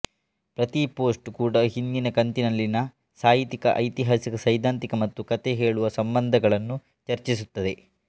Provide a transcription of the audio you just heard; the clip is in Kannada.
ಪ್ರತೀ ಪೋಸ್ಟ್ ಕೂಡಾ ಹಿಂದಿನ ಕಂತಿನಲ್ಲಿನ ಸಾಹಿತ್ಯಿಕ ಐತಿಹಾಸಿಕ ಸೈದ್ಧಾಂತಿಕ ಮತ್ತು ಕಥೆ ಹೇಳುವ ಸಂಬಂಧಗಳನ್ನು ಚರ್ಚಿಸುತ್ತದೆ